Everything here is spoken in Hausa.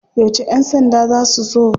Yauce ya sanda za su zo?